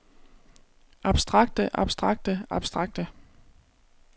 abstrakte abstrakte abstrakte